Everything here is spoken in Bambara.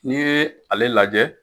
N'i ye ale lajɛ